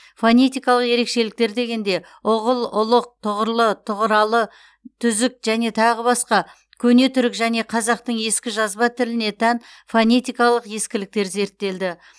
фонетикалық ерекшеліктер дегенде ұғыл ұлық тұғры тұғралы түзік және тағы басқа көне түрік және қазақтың ескі жазба тіліне тән фонетикалық ескіліктер зерттелді